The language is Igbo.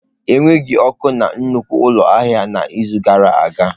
Enweghị ọkụ na nnukwu ụlọ ahịa n'izu gara aga.